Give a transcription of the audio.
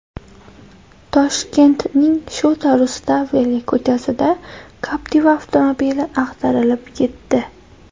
Toshkentning Shota Rustaveli ko‘chasida Captiva avtomobili ag‘darilib ketdi.